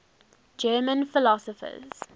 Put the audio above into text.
german philosophers